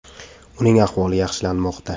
Uning ahvoli yaxshilanmoqda.